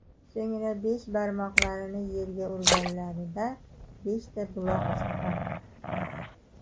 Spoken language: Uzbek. So‘ngra besh barmoqlarini yerga urganlarida beshta buloq chiqqan.